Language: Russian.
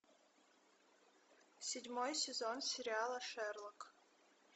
седьмой сезон сериала шерлок